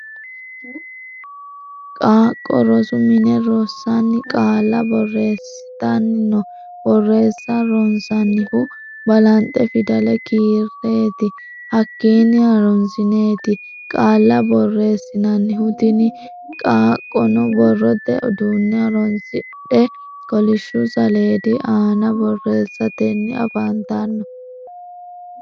Qaaqqo rosu mine rosanni qaalla boreesitanni no. Boreessa ronsannihu balanxe fidale kireeti hakiinni harunsineeti qaalla boreesinnannihu. Tinni qaaqqono borrote uduune horoonsidhe kolishu saleedi aanna boreesitanni afantanno.